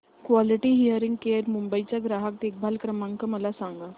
quality hearing care Mumbai चा ग्राहक देखभाल क्रमांक मला सांगा